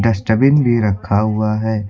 Dustbin भी रखा हुआ है।